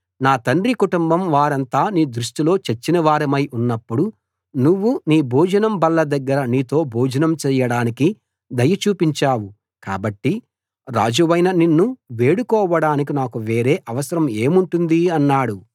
నా తండ్రి కుటుంబం వారంతా నీ దృష్టిలో చచ్చినవారమై ఉన్నప్పుడు నువ్వు నీ భోజనం బల్ల దగ్గర నీతో భోజనం చేయడానికి దయ చూపించావు కాబట్టి రాజవైన నిన్ను వేడుకోవడానికి నాకు వేరే అవసరం ఏముంటుంది అన్నాడు